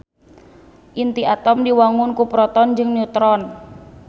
Inti atom diwangun ku proton jeung neutron